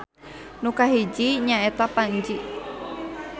Nu kahiji nya eta Panji